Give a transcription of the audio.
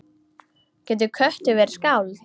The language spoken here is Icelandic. Getur köttur verið skáld?